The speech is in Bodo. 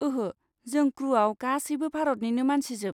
ओहो, जों क्रुआव गासैबो भारतनिनो मानसिजोब।